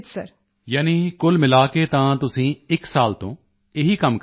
ਯਾਨੀ ਕੁਲ ਮਿਲਾ ਕੇ ਤਾਂ ਤੁਸੀਂ ਇੱਕ ਸਾਲ ਤੋਂ ਇਹੀ ਕੰਮ ਕਰ ਰਹੇ ਹੋ